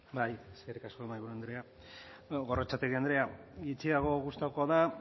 bai eskerrik asko mahaiburu andrea gorrotxategi andrea gutxiago gustatuko da